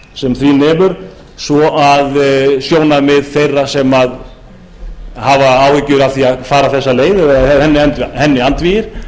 sem því nemur svo að sjónarmið þeirra sem hafa áhyggjur af því að fara þessa leið eða eru henni andvígir